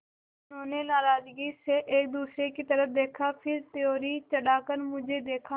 उन्होंने नाराज़गी से एक दूसरे की तरफ़ देखा फिर त्योरी चढ़ाकर मुझे देखा